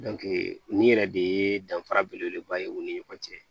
nin yɛrɛ de ye danfara belebeleba ye u ni ɲɔgɔn cɛ